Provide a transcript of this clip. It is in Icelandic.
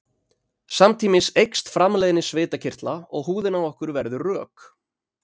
samtímis eykst framleiðni svitakirtla og húðin á okkur verður rök